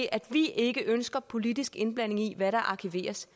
at vi ikke ønsker politisk indblanding i hvad der arkiveres